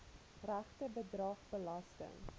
regte bedrag belasting